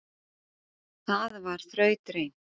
Það var þrautreynt